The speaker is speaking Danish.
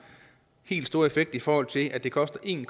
helt store effekt i forhold til at det koster en